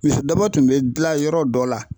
Misi daba tun bɛ gilan yɔrɔ dɔ la.